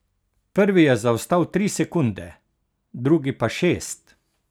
Prvi je zaostal tri sekunde, drugi pa šest.